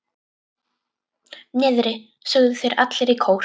Niðri, sögðu þeir allir í kór.